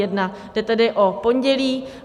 Jde tedy o pondělí.